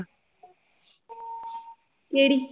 ਕਿਹੜੀ?